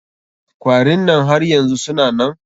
Kwarin nan har yanzu suna nan?